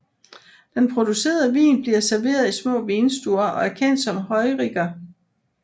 Den producerede vin bliver serveret i små vinstuer og er kendt som Heuriger